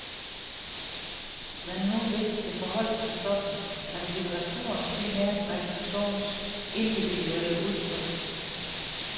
Hvad nu hvis det forholdt sig sådan, at litteraturen primært var en persons individuelle udtryk?